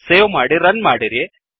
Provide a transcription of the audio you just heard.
save ಮಾಡಿ run ಮಾಡಿರಿ